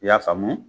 I y'a faamu